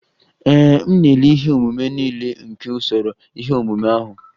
Ee, m na-ele ihe omume niile nke usoro ihe omume ahụ.